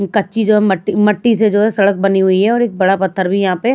कच्ची जो है मट्टी से जो है सड़क बनी हुई है और एक बड़ा पत्थर भी यहाँ पे--